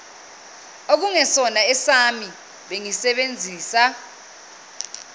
okungesona esami bengisebenzisa